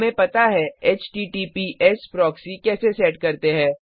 हमें पता है एचटीटीपीएस प्रॉक्सी कैसे सेट करते है